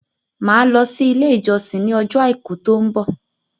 Màá lọ sí ilé ìjọsìn ní ọjọ́ àìkú tó ń bọ̀